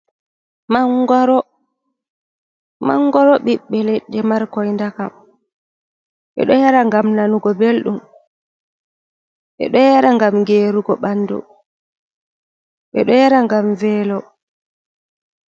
Mangoro ɓiɓɓe leɗɗe, markoy ndakam. Ɓe ɗo yara ngam nanugo belɗum ,ɓe ɗo yara ngam geerugo ɓanndu, ɓe ɗo yara ngam veelo.